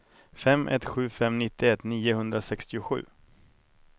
fem ett sju fem nittioett niohundrasextiosju